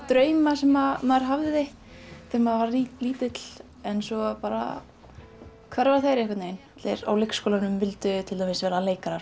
drauma sem maður hafði þegar maður var lítill en svo bara hverfa þeir einhvern veginn á leikskólanum vildu til dæmis vera leikarar